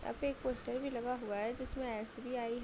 यहाँ पे एक पोस्टर भी लगा हुआ है जिसमें एसबीआई --